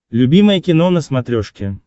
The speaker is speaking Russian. любимое кино на смотрешке